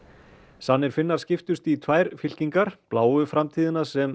sannir Finnar skiptust í tvær fylkingar bláu framtíðina sem